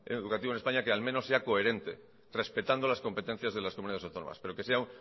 educativo en españa que al menos sea coherente respetando las competencias de las comunidades autónomas pero que sea